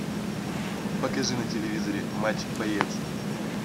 покажи на телевизоре матч боец